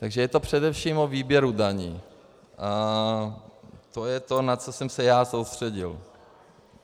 Takže je to především o výběru daní a to je to, na co jsem se já soustředil.